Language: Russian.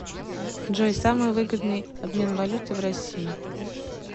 джой самый выгодный обмен валюты в россии